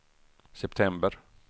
september